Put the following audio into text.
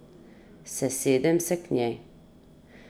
Sesedem se k njej.